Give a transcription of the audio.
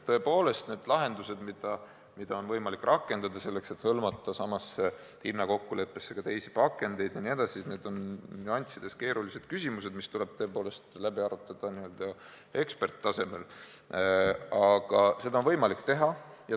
Tõepoolest, need lahendused, mida on võimalik rakendada, selleks et hõlmata samasse hinnakokkuleppesse ka teisi pakendeid jne, on nüanssides keerulised küsimused, mis tuleb tõepoolest läbi arutada ekspertide tasemel, aga seda on võimalik teha.